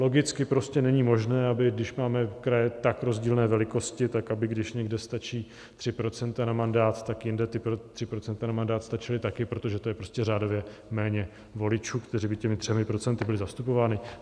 Logicky prostě není možné, aby když máme kraje tak rozdílné velikosti, tak aby když někde stačí 3 % na mandát, tak jinde ta 3 % na mandát stačila taky, protože to je prostě řádově méně voličů, kteří by těmi 3 % byli zastupováni.